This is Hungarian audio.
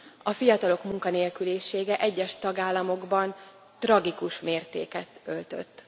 A fiatalok munkanélkülisége egyes tagállamokban tragikus mértéket öltött.